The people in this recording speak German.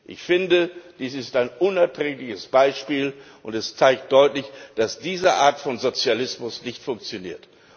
Ich finde, dies ist ein unerträgliches Beispiel, und es zeigt deutlich, dass diese Art von Sozialismus nicht funktioniert.